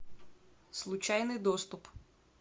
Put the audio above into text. случайный доступ